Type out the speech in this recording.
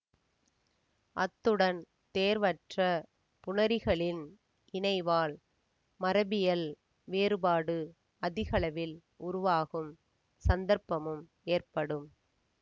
அத்துடன் தேர்வற்ற புணரிகளின் இணைவால் மரபியல் வேறுபாடு அதிகளவில் உருவாகும் சந்தர்ப்பமும் ஏற்படும்